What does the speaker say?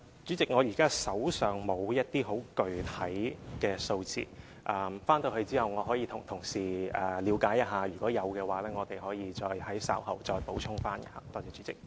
主席，現時我手上沒有一些很具體的數字，回去後我可以向同事了解一下，如果有的話，我們可以稍後再補充。